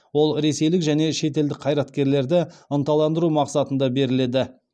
ол ресейлік және шетелдік қайраткерлерді ынталандыру мақсатында беріледі